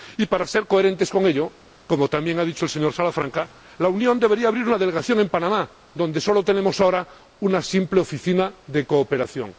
Y, para ser coherentes con ello —como también ha dicho el señor Salafranca—, la Unión debería abrir una delegación en Panamá, donde ahora solo tenemos una simple oficina de cooperación.